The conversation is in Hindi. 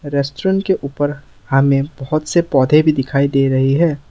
रेस्टोरेंट के ऊपर हमें बहुत सारे पौधे भी दिखाई दे रहे हैं।